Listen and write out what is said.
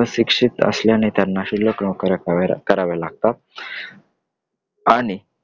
अशिक्षित असल्यामुळं त्यांना शुल्लक नोकऱ्या कराव्या लागतात . आणि